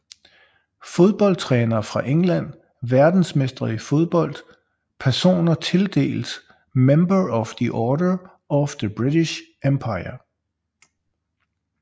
Fodboldtrænere fra England Verdensmestre i fodbold Personer tildelt Member of the Order of the British Empire